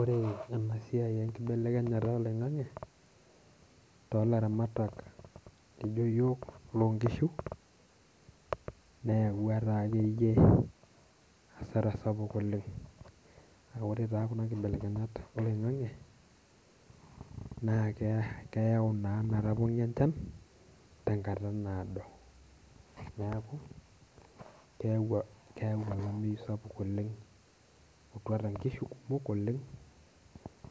Ore ena siai enkibelekenyata oloing'ang'e tiatua ilaramatak loijo iyiok loo nkishu, neyau taa akeyie hasara sapuk oleng'. Ore taa kuna kibelekenyat oloing'ang'e naa keyau naa metapong'i enchan tenkata naado. Neeku keyau olameyu sapuk oleng', etuata nkishu kumok oleng'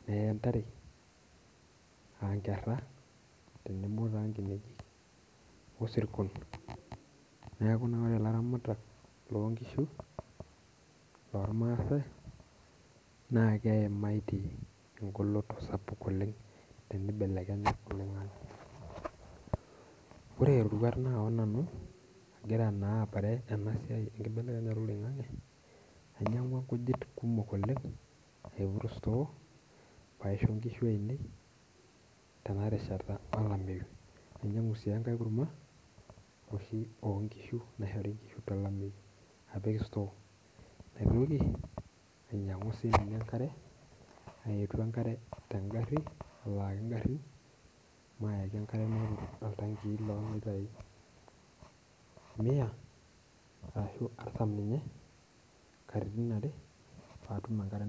nee ntare aa nkera tenebo taa inkinejik osirkon. Neeku ore ilaramatak loo nkishu loo irmasae naa keimatie egoloto sapuk oleng' teneibelekenya oloing'ang'e. Ore roruat naawa nanu agira naa aparan ena siai enkibelekenyata oloing'ang'e, ainyang'ua nkujit kumok oleng' aiput store paisho inkishu ainei tena rishat olameyu. Ninyang'u sii enkae kurma oshi oo nkishu naishori inkishu tolameyu napik store. Naitoki ainyang'u sii ninye enkare, aitu enkare te gari alaki igarin mayaki enkare napik oltanki loo litai mia arashu artam ninye katitin are paa atum enkare.